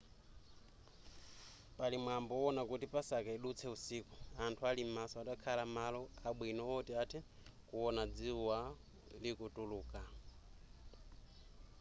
pali mwambo wowona kuti pasaka idutse usiku anthu ali m'maso atakhala malo abwino oti athe kuona dzuwa likutuluka